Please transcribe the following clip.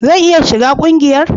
Zan iya shiga ƙungiyar?